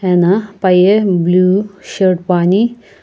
ana paye blue shirt poani.